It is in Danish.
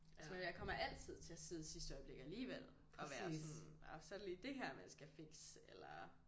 Altså og jeg kommer altid til at sidde i sidste øjeblik alligevel og være sådan og så er der lige det her man skal fikse eller